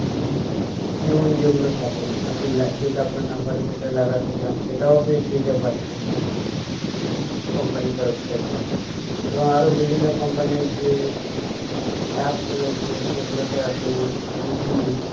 tune যেগুলো থাকে যেহেতু আপনার number এর ক্ষেত্রে লাগাতে চান সেটাও আপনি free তে পাচ্ছেন company ইর তরফ থেকে এবং আরো বিভিন্ন company ইর যে apps রয়েছে সেগুলোতে আপনি movie